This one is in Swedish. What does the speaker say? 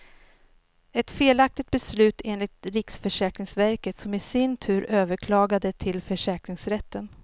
Ett felaktigt beslut enligt riksförsäkringsverket som i sin tur överklagade till försäkringsrätten.